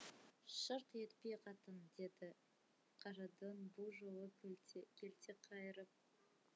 шырқ етпе қатын деді қарадөң бұ жолы келте келте қайырып